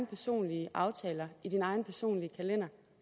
personlige aftaler inden egen personlige kalender